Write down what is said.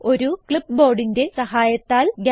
ഒരു clipboardന്റെ സഹായത്തൽ